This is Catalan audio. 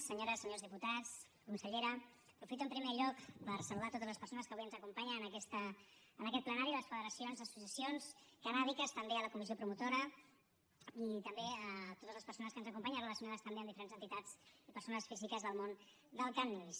senyores senyors diputats consellera aprofito en primer lloc per saludar totes les persones que avui ens acompanyen en aquest plenari les federacions les associacions cannàbiques també la comissió promotora i també totes les persones que ens acompanyen relacionades també amb diferents entitats i persones físiques del món del cànnabis